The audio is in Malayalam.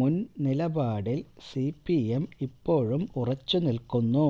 മുൻ നിലപാടിൽ സിപിഎം ഇപ്പോഴും ഉറച്ചു നിൽക്കുന്നു